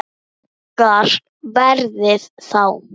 Hækkar verðið þá?